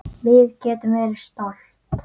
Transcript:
Við getum verið stolt.